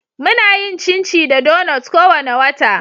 Muna yin chinchi da donuts kowane wata.